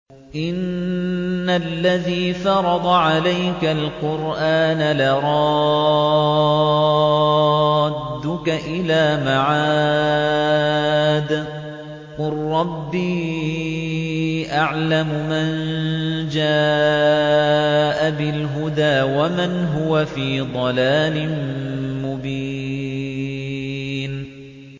إِنَّ الَّذِي فَرَضَ عَلَيْكَ الْقُرْآنَ لَرَادُّكَ إِلَىٰ مَعَادٍ ۚ قُل رَّبِّي أَعْلَمُ مَن جَاءَ بِالْهُدَىٰ وَمَنْ هُوَ فِي ضَلَالٍ مُّبِينٍ